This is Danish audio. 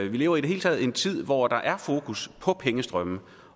vi lever i det hele taget i en tid hvor der er fokus på pengestrømme